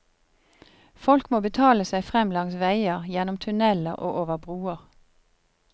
Folk må betale seg frem langs veier, gjennom tunneler og over broer.